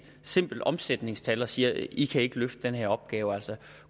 simpelt omsætningstal og siger i kan ikke løfte den her opgave